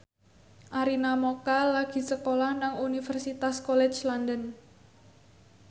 Arina Mocca lagi sekolah nang Universitas College London